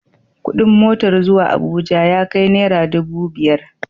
Kuɗin motar zuwa Abuja ya kai nara dubu biyar.